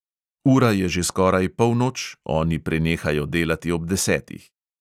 Ura je že skoraj polnoč, oni prenehajo delati ob desetih.